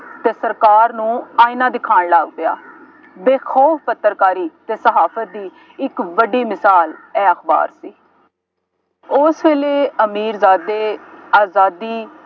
ਅਤੇ ਸਰਕਾਰ ਨੂੰ ਆਇਨਾ ਦਿਖਾਉਣ ਲੱਗ ਪਿਆ। ਬੇਖੌਫ ਪੱਤਰਕਾਰੀ ਅਤੇ ਸਾਹਸ ਦੀ ਇੱਕ ਵੱਡੀ ਮਿਸਾਲ ਇਹ ਅਖਬਾਰ ਸੀ। ਉਹ ਵੇਲੇ ਅਮੀਰਜ਼ਾਦੇ ਆਜ਼ਾਦੀ